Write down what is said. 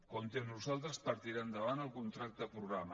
compti amb nosaltres per tirar endavant el contracte programa